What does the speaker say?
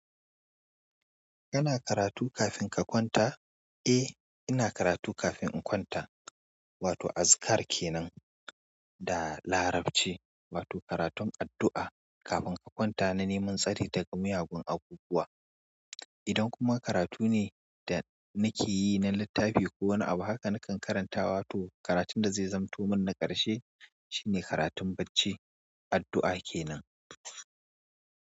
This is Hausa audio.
Kana karatu kafin ka kwanta? Eh, ina karatu kafin in kwanta. Wato azkar kenan da Larabci, wato karatun addu'a kafin ka kwanta na neman tsari daga miyagun abubuwa. Idan kuma karatu ne da nake yi na littafi ko wani abu haka nakan karantawa to karatun da zai zamanto mun na ƙarshe shine karatun bacci, addu'a kenan.